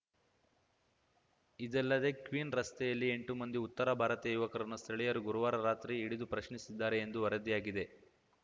ಇದಲ್ಲದೆ ಕ್ವೀನ್ಸ್ ರಸ್ತೆಯಲ್ಲಿ ಎಂಟು ಮಂದಿ ಉತ್ತರ ಭಾರತೀಯ ಯುವಕರನ್ನು ಸ್ಥಳೀಯರು ಗುರುವಾರ ರಾತ್ರಿ ಹಿಡಿದು ಪ್ರಶ್ನಿಸಿದ್ದಾರೆ ಎಂದು ವರದಿಯಾಗಿದೆ